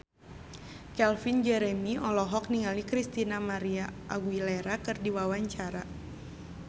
Calvin Jeremy olohok ningali Christina María Aguilera keur diwawancara